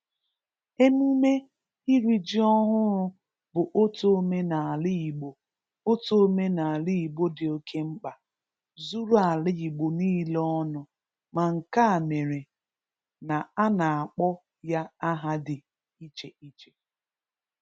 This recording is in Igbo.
Emume iri ji ọhụrụ bụ otu omenala Igbo otu omenala Igbo dị oke mkpa zuru ala Igbo niile ọnụ ma nke a mere na a na-akpọ ya aha dị iche-iche.